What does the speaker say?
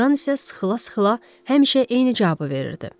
Qran isə sıxıla-sıxıla həmişə eyni cavabı verirdi.